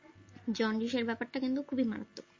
জন্ডিসের ব্যাপারটা খুব গুরুত্ব,